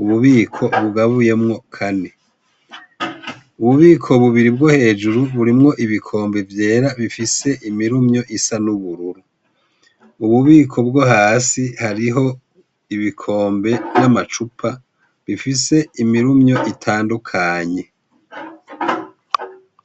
ububiko bugabuyemwo Kane, ububiko bubiri bwo hejuru birimwo ibikombe vyera bifise imirumyo isa n'ubururu, m'ububiko bwo hasi harimwo ibikombe n'amacupa bifise imirumyo itandukanye.